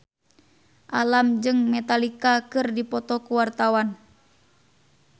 Alam jeung Metallica keur dipoto ku wartawan